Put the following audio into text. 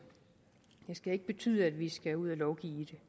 skal ikke betyde at vi skal ud og lovgive